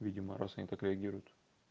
видимо раз они так реагируют